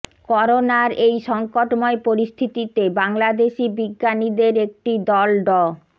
করোনার এই সংকটময় পরিস্থিতিতে বাংলাদেশি বিজ্ঞানীদের একটি দল ড